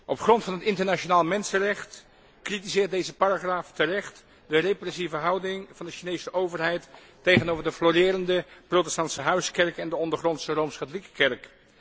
Op grond van het internationaal mensenrecht kritiseert deze paragraaf terecht de repressieve houding van de Chinese overheid tegenover de florerende protestantse huiskerk en de ondergrondse rooms katholieke kerk.